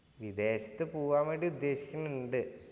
വിദേശത്ത് പോവാൻ വേണ്ടി ഉദ്ദേശിക്കുന്നുണ്ട്.